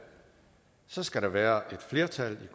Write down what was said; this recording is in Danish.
så skal der være et flertal